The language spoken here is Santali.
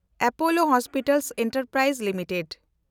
Apollo hospital enterprise limited